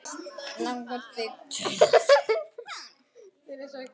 Langar þig til að fara?